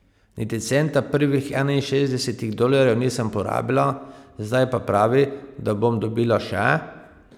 Niti centa prvih enainšestdesetih dolarjev nisem porabila, zdaj pa pravi, da bom dobila še?